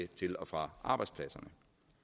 til og fra arbejdspladserne